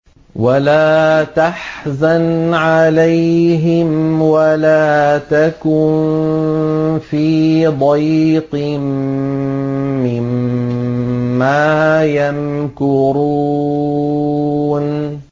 وَلَا تَحْزَنْ عَلَيْهِمْ وَلَا تَكُن فِي ضَيْقٍ مِّمَّا يَمْكُرُونَ